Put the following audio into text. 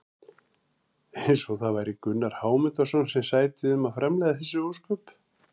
Eins og það væri Gunnar Hámundarson sem sæti um að framleiða þessi ósköp!